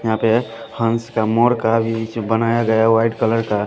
यहाँ पे हंस का मोड़ का बीज बनाया गया है वाइट कलर का --